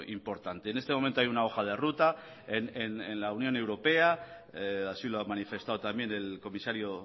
importante en este momento hay una hoja de ruta en la unión europea así lo ha manifestado también el comisario